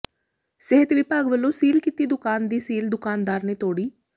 ਸਿਹਤ ਵਿਭਾਗ ਵਲੋਂ ਸੀਲ ਕੀਤੀ ਦੁਕਾਨ ਦੀ ਸੀਲ ਦੁਕਾਨਦਾਰ ਨੇ ਤੋੜੀ